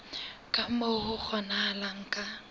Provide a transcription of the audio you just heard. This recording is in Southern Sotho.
ka moo ho kgonahalang ka